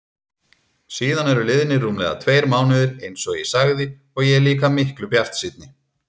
Síðan eru liðnir rúmlega tveir mánuðir einsog ég sagði og ég er líka miklu bjartsýnni.